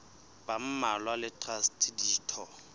ba mmalwa le traste ditho